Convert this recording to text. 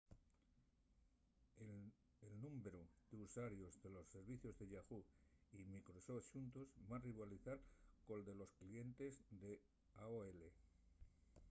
el númberu d’usuarios de los servicios de yahoo! y microsoft xuntos va rivalizar col de los clientes d’aol